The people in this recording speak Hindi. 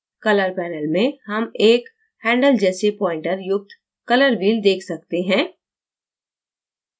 color panel में हम एक handle जैसे pointer युक्त color wheel देख सकते हैं